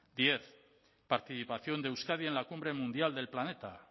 diez participación de euskadi en la cumbre mundial del planeta